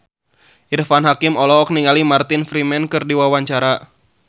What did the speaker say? Irfan Hakim olohok ningali Martin Freeman keur diwawancara